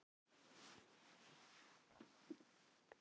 Af hverju eru allir svona fallegir í þessum auglýsingum?